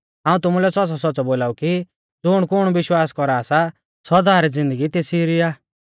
हाऊं तुमुलै सौच़्च़ौसौच़्च़ौ बोलाऊ कि ज़ुणकुण विश्वास कौरा सा सौदा री ज़िन्दगी तेसी री आ